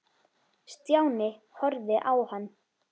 Stjáni horfði á hann.